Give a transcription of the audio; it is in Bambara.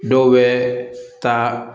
Dɔw bɛ taa